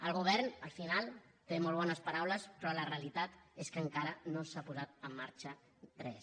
el govern al final té molt bones paraules però la realitat és que encara no s’ha posat en marxa res